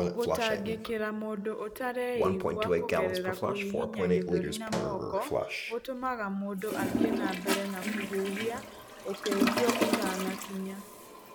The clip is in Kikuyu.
Gũtangĩkĩra mũndũ ũtareigua kũgerera kũhihinya gĩthũri na moko gũtũmaga mũndũ athiĩ na mbere na kũhuhia ũteithio ũtanakinya.